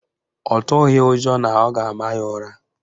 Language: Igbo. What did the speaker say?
Ọ tụghị ụjọ na ọ ga-ama ya ụra